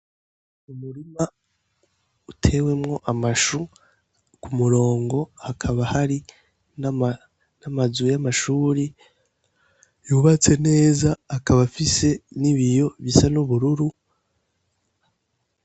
Umurima utewemwo amashu ku murongo hakaba hari n' amazu y'amashure yubatse neza akaba afise n' ibiyo bisa n' ubururu.